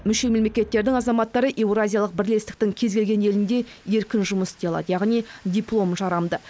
мүше мемлекеттердің азаматтары еуразиялық бірлестіктің кез келген елінде еркін жұмыс істей алады яғни дипломы жарамды